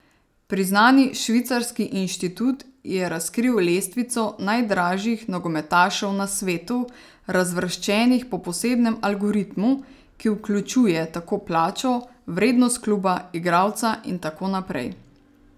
Priznani švicarski inštitut je razkril lestvico najdražjih nogometašev na svetu, razvrščenih po posebnem algoritmu, ki vključuje tako plačo, vrednost kluba, igralca in tako naprej.